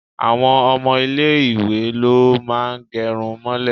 Àwọn ọmọ ilé ìwé ló máa ń gẹrun mọ́lẹ̀.